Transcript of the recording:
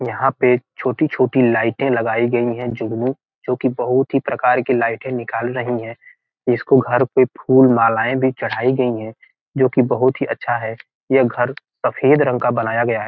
यहाँ पे एक छोटी-छोटी लाइटें लगाई गई हैं जुगनू जोकि बहुत ही प्रकार की लाइटें निकाल रहीं हैं इसको घर पे फूल मालाएं भी चढ़ाई गई हैं जो की बहुत ही अच्छा है यह घर सफेद रंग का बनाया गया है।